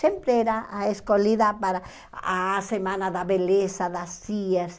Sempre era a escolhida para a semana da beleza, das cias.